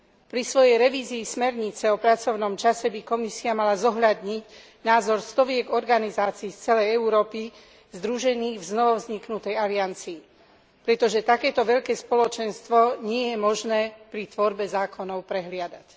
Pri svojej revízii smernice o pracovnom čase by Komisia mala zohľadniť názor stoviek organizácií z celej Európy združených v novovzniknutej aliancii, pretože takéto veľké spoločenstvo nie je možné pri tvorbe zákonov prehliadať.